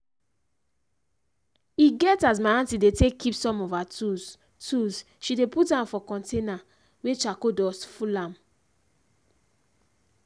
e get as my aunty dey take keep some of her tools tools she dey put am for container wey chracole dust full am.